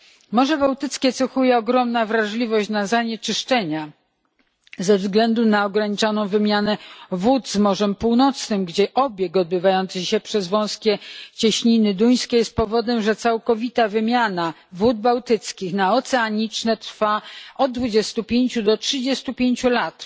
Może Bałtyckie cechuje ogromna wrażliwość na zanieczyszczenia ze względu na ograniczoną wymianę wód z Morzem Północnym, gdzie obieg odbywający się przez wąskie cieśniny duńskie jest powodem, że całkowita wymiana wód bałtyckich na oceaniczne trwa od 25 do 35 lat.